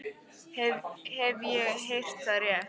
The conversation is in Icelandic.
Ef ég hef heyrt það rétt.